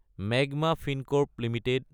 মাগমা Fincorp Ltd